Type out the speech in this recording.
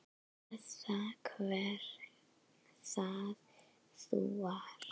Eða hver það nú var.